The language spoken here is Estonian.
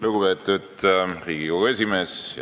Lugupeetud Riigikogu esimees!